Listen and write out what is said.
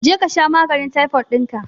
Je kasha maganin taifod dinka